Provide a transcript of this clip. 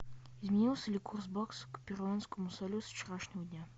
изменился ли курс бакса к перуанскому солю со вчерашнего дня